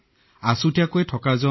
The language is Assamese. কোৱাৰেণ্টাইনৰ অৰ্থ অন্যভাৱে নলব